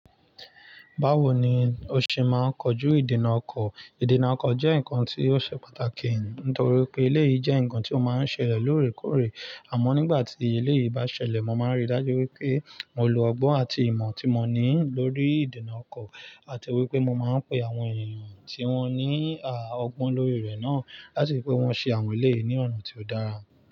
Báwo ni o ṣe máa ń kojú ìdènà ọkọ̀? Ìdènà ọkọ̀ jẹ́ ǹkan tí ó ṣe pàtàkì, nítorí pé ilé yìí jẹ́ ǹkan tí ó máa ń ṣẹlẹ̀ lóòrèkóòrè. Àmọ́ nígbà tí ilé yìí bá ṣẹlẹ̀, mo máa ń rí i dájú wípé mo lo ọgbọ́n àti ìmọ̀ tí mo ní lórí ìdènà ọkọ̀, àti wípé mo máa ń pe àwọn èèyàn tí wón ní a ọgbọ́n lórí rẹ̀ náà láti wípé wón ṣe àwọn èlé yìí ní ọ̀nà tí ó dára.